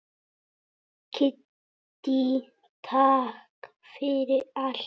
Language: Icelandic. Kiddý, takk fyrir allt.